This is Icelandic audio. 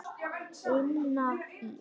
Tinna Ýr.